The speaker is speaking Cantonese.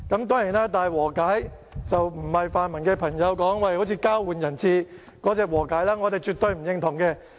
當然，這並非泛民朋友所說的有如交換人質的和解，我們對此絕對不認同。